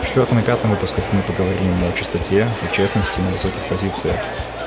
в четвертом и пятом выпусках мы поговорим о чистоте и честности на высоких позициях